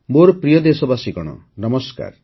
ମୋର ପ୍ରିୟ ଦେଶବାସୀଗଣ ନମସ୍କାର